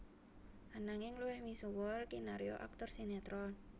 Ananging luwih misuwur kinarya aktor sinétron